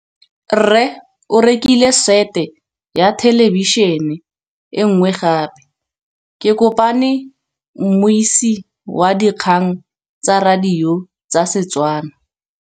Rre o rekile sete ya thêlêbišênê e nngwe gape. Ke kopane mmuisi w dikgang tsa radio tsa Setswana.